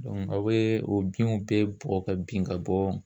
Dɔnku a bee o binw bɛɛ bugɔ ka bin ka bɔ